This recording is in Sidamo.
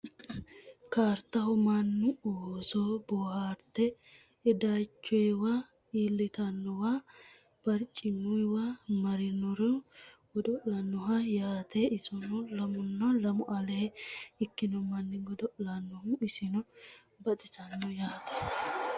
kaaritaho Mannu oosso booharatte idaachoniwa, ilitinotewa, bariciminohuwa marriro godolanoho yaate isono lamuna lamu alee ikino manni goddolanohi isino baxxisano yaate